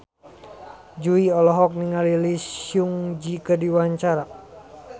Jui olohok ningali Lee Seung Gi keur diwawancara